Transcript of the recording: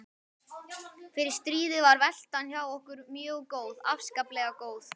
Fyrir stríðið var veltan hjá okkur mjög góð, afskaplega góð.